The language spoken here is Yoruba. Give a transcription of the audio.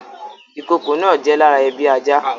Ìkokò náà jẹ́ lára ebi ajá